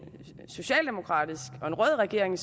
socialdemokratisk og rød regering